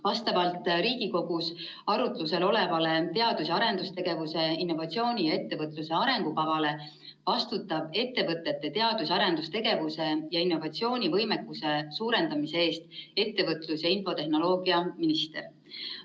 Vastavalt Riigikogus arutlusel olevale teadus- ja arendustegevuse, innovatsiooni ning ettevõtluse arengukavale vastutab ettevõtete teadus‑ ja arendustegevuse ja innovatsioonivõimekuse suurendamise eest ettevõtlus‑ ja infotehnoloogiaminister.